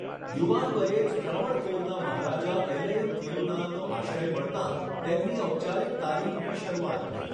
યુવાન વયે જ ત્રાવણકોરના મહારાજા ઐલયમ થીરુનાલનો આશ્રય મળતાં તેમની ઔપચારિક તાલીમની શરુઆત થઈ.